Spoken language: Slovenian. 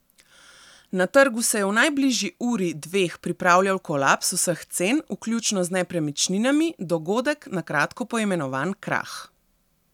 Na trgu se je v najbližji uri, dveh pripravljal kolaps vseh cen, vključno z nepremičninami, dogodek, na kratko poimenovan krah.